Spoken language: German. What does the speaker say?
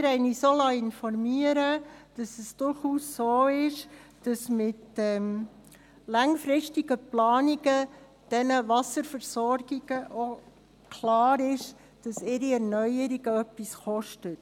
Wir liessen uns informieren, dass es durchaus so ist, dass mit den langfristigen Planungen, den Wasserversorgungen klar ist, dass ihre Erneuerungen etwas kosten.